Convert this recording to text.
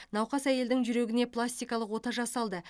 науқас әйелдің жүрегіне пластикалық ота жасалды